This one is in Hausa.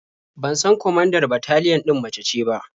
Ban san kwamandar bataliyan ɗin mace ce ba.